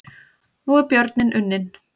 Nú er björninn unninn